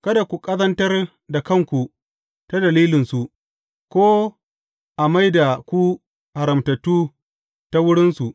Kada ku ƙazantar da kanku ta dalilinsu, ko a mai da ku haramtattu ta wurinsu.